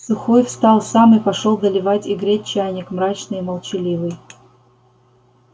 сухой встал сам и пошёл доливать и греть чайник мрачный и молчаливый